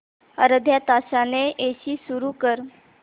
अर्ध्या तासाने एसी सुरू कर